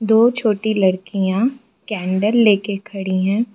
दो छोटी लड़कियां कैंडल लेके खड़ी है।